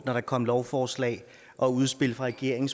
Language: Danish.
er kommet lovforslag og udspil fra regeringen